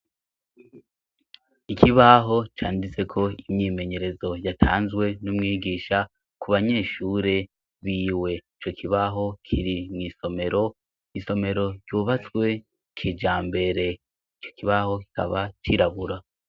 ikibaho canditseko imyimenyerezo yatanzwe n'umwigisha ku banyeshure biwe ico kibaho kiri mu isomero isomero ryubatswe kijambere ico kibaho kikaba cirabura